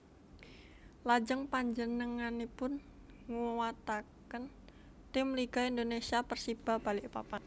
Lajeng panjenenganipun nguwataken tim Liga Indonesia Persiba Balikpapan